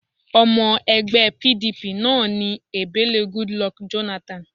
Ọmọ ẹgbẹ́ PDP náà ni Ebele Goodluck Jonathan